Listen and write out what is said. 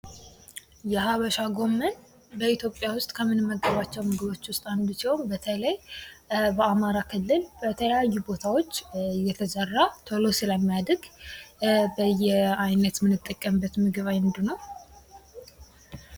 የሀበሻ ጎመን በኢትዮጵያ ዉስጥ ከምንመገባቸዉ ምግቦች ዉስጥ አንዱ ሲሆን በተለይ በአማራ ክልል በተለያዩ ቦታዎች እየተዘራ ቶሎ ስለሚያድግ በየአይነት የምንጠቀምበት ምግብ አንዱ ነዉ።